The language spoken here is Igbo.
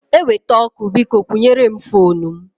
Eweta ọkụ, biko kwụnyere m foonu m.